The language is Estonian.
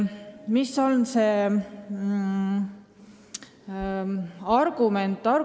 Mis on argument?